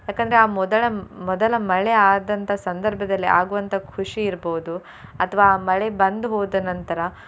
ಯಾಕಂದ್ರೆ ಆ ಮೊದಲ ಮೊದಲ ಮಳೆ ಆದಂತ ಸಂದರ್ಭದಲ್ಲಿ ಆಗುವಂತ ಖುಷಿ ಇರ್ಬೋದು ಅಥ್ವಾ ಆ ಮಳೆ ಬಂದು ಹೋದ ನಂತರ.